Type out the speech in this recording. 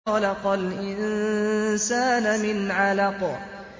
خَلَقَ الْإِنسَانَ مِنْ عَلَقٍ